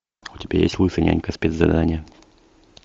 у тебя есть лысый нянька спец задание